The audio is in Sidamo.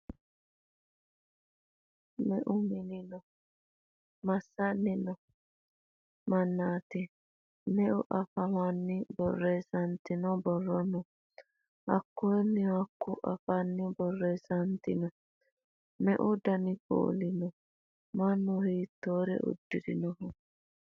Meu manni no? Masssanni noo mannaati? Meu afiinni borreessantino borro no? Hiikkuunna hiikkuu afiinni borreessantino? Meu dani kuuli no? Mannu hiittoore uddirinnoho?